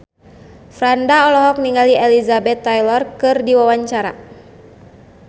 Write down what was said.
Franda olohok ningali Elizabeth Taylor keur diwawancara